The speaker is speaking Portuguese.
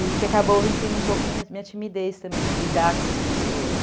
E que acabou vencendo um pouco minha minha timidez também de lidar com as pessoas.